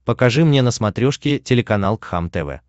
покажи мне на смотрешке телеканал кхлм тв